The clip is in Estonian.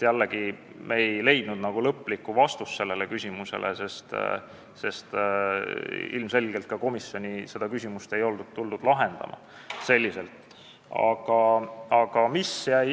Jällegi ei leidnud me lõplikku vastust sellele küsimusele, sest ilmselgelt ei olnud ka komisjoni tuldud seda küsimust selliselt lahendama.